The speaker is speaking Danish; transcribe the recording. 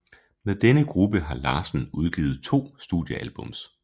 Med denne gruppe har Larsen udgivet to studiealbums